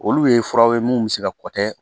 Olu ye furaw ye mun bɛ se ka kɔ tɛ